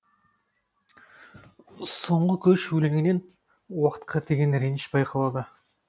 соңғы көш өлеңінен уақытқа деген реніш байқалады